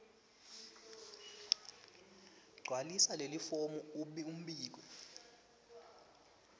gcwalisa lelifomu embikwe